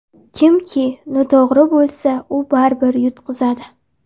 Kimki noto‘g‘ri bo‘lsa u baribir yutqizadi.